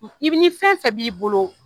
I bɛ ni fɛn fɛ b'i bolo